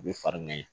U bɛ fari ŋɛɲɛ